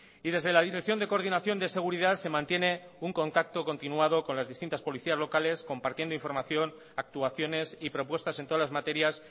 y desde la dirección de coordinación de seguridad se mantiene un contacto continuado con las distintas policías locales compartiendo información actuaciones y propuestas en todas las materias